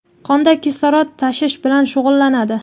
qonda kislorod tashish bilan shug‘ullanadi.